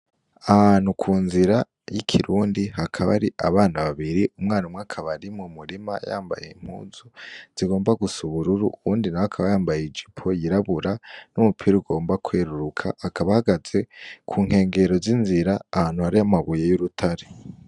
Ahantu ku nzira y'ikirundi hakaba ari abana babiri umwana umwe akabari mu murima yambaye impuzu zigomba gusa ubururu uwundi nawe akaba yambaye ijipo yirabura n'umupira ugomba kweruruka akabahagaze ku nkengero z'inzira ahantu hari amabuye y'urutare.